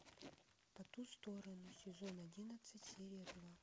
по ту сторону сезон одиннадцать серия два